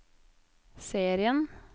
serien